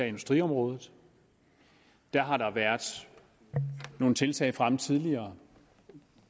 industriområdet der har været nogle tiltag fremme tidligere